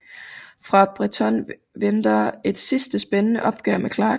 For Bretton venter et sidste spændende opgør med Clark